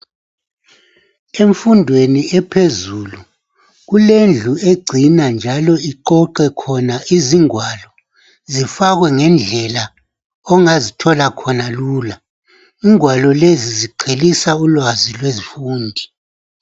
Emfundweni ephezulu kulendlu egcina njalo iqoqe khona izingwalo .Zifakwe ngendlela ongazithola khona lula .Ingwalo lezi ziqhelisa ulwazi lwezifundi.